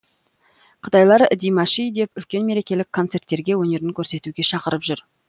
қытайлар димаши деп үлкен мерекелік концерттерге өнерін көрсетуге шақырып жүр